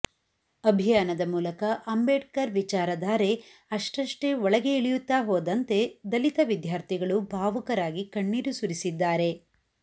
ಅಭಿಯಾನದ ಮೂಲಕ ಅಂಬೇಡ್ಕರ್ ವಿಚಾರಧಾರೆ ಅಷ್ಟಷ್ಟೇ ಒಳಗೆ ಇಳಿಯುತ್ತಾ ಹೋದಂತೆ ದಲಿತ ವಿದ್ಯಾರ್ಥಿಗಳು ಭಾವುಕರಾಗಿ ಕಣ್ಣೀರು ಸುರಿಸಿದ್ದಾರೆ